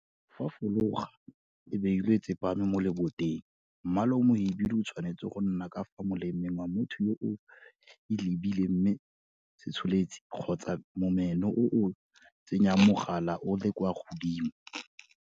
Fa fologa e beilwe e tsepame mo leboteng, mmala o mohibidu o tshwanetse go nna ka fa molemeng wa motho yo o e lebileng mme setsholetsi kgotsa momeno o o tsenyang mogala o le kwa godimo.